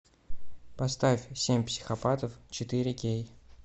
поставь семь психопатов четыре кей